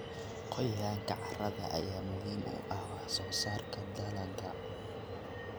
Qoyaanka carrada ayaa muhiim u ah wax soo saarka dalagga.